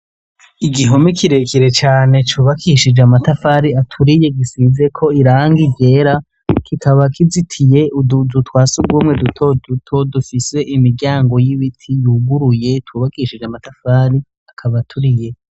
Igihome kirekire cane cubakishije amatafari aturiye, gisize ko irangi ryera ,kikaba kizitiye utuzu twa sugumwe duto duto dufise imiryango y'ibiti yuguruye twubakishije amatafari, akab' aturiye.